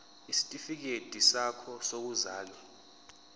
isitifikedi sakho sokuzalwa